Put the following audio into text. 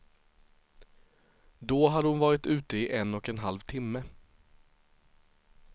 Då hade hon varit ute i en och en halv timme.